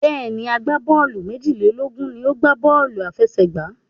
Bẹ́ẹ̀ni, agbábọ́ọ̀lù méjìlélógún ni ó ń gbá bọ́ọ̀lù aláfẹsẹ̀gbá.